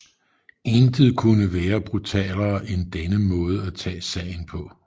Intet kunne være brutalere end denne måde at tage sagen på